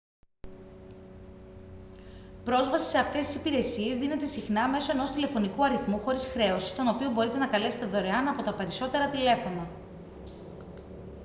πρόσβαση σε αυτές τις υπηρεσίες δίνεται συχνά μέσω ενός τηλεφωνικού αριθμού χωρίς χρέωση τον οποίο μπορείτε να καλέσετε δωρεάν από τα περισσότερα τηλέφωνα